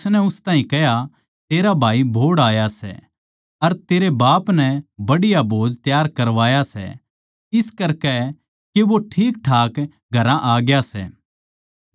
उसनै उस ताहीं कह्या तेरा भाई बोहड़ आया सै अर तेरे बाप नै बढ़िया भोज तैयार करवाया सै इस करकै के वो ठीकठाक घरा आ ग्या सै